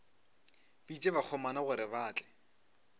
bitša bakgomana gore ba tle